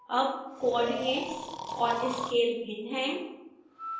अब coordinates और scale भिन्न हैं